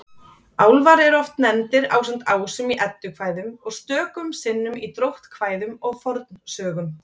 Álfar eru oft nefndir ásamt ásum í Eddukvæðum og stöku sinnum í dróttkvæðum og fornsögum.